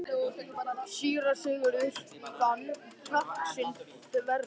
Síra Sigurður fann kjark sinn þverra.